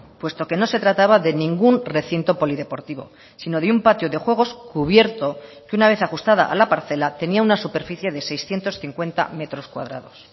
puesto que no se trataba de ningún recinto polideportivo si no de un patio de juegos cubierto que una vez ajustada a la parcela tenía una superficie de seiscientos cincuenta metros cuadrados